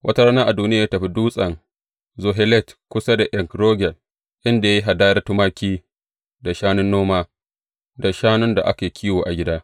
Wata rana Adoniya ya tafi Dutsen Zohelet kusa da En Rogel, inda ya yi hadayar tumaki, da shanun noma, da shanun da ake kiwo a gida.